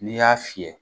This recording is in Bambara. N'i y'a fiyɛ